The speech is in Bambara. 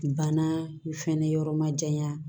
Banna fɛnɛ yɔrɔ ma janya